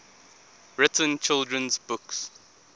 written children's books